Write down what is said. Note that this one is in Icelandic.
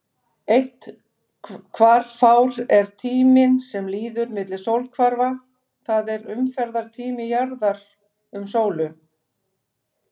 Eitt hvarfár er tíminn sem líður milli sólhvarfa, það er umferðartími jarðar um sólu.